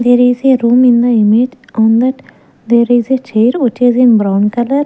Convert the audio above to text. there is a room in the image on that there is a chair which is in brown color.